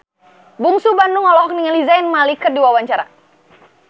Bungsu Bandung olohok ningali Zayn Malik keur diwawancara